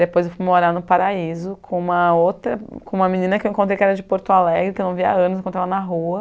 Depois eu fui morar no Paraíso com uma outra, com uma menina que eu encontrei que era de Porto Alegre, que eu não via há anos, eu encontrei ela na rua.